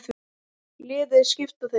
Liðið skipa þeir